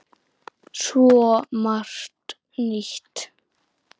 Svo margt nýtt.